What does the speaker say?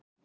Ali